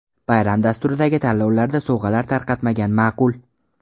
Bayram dasturidagi tanlovlarda sovg‘alar tarqatmagan ma’qul.